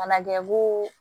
Mana kɛ koo